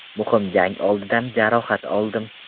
Muhim jang oldidan jarohat oldim.